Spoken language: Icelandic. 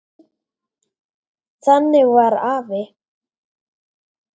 Þannig var afi.